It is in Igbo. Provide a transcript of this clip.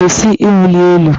Kwụsị ịwụli elu!